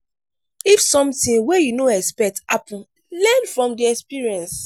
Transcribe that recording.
if something wey you no expect happen learn from the experience